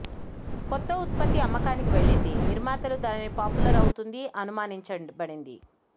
కొత్త ఉత్పత్తి అమ్మకానికి వెళ్ళింది నిర్మాతలు దానిని పాపులర్ అవుతుంది అనుమానించబడింది